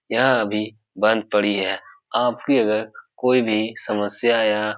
यह अभी बंद पड़ी है आपकी अगर कोई भी समस्या या --